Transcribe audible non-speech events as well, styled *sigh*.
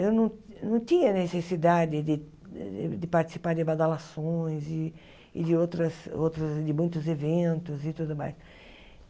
Eu não não tinha necessidade de participar de *unintelligible* e de outras outras de muitos eventos e tudo mais.